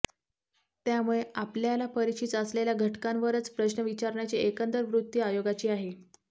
त्यामुळे आपल्याला परिचित असलेल्या घटकांवरच प्रश्न विचारण्याची एकंदर वृत्ती आयोगाची आहे